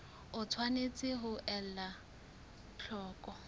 o tshwanetse ho ela hloko